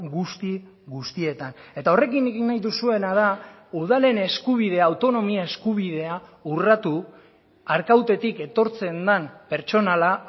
guzti guztietan eta horrekin egin nahi duzuena da udalen eskubidea autonomia eskubidea urratu arkautetik etortzen den pertsonala